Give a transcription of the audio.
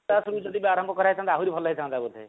ପୂର୍ବରୁ ଯଦି ଆରମ୍ଭ କରା ଯାଇଥାନ୍ତା ଆହୁରି ଭଲ ହେଇଥାନ୍ତା ବୋଧେ